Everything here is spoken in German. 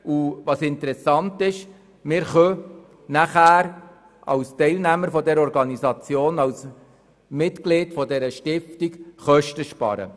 Was interessant ist: Wir können dann als Teilnehmer dieser Organisation, als Mitglied dieser Stiftung, Kosten sparen.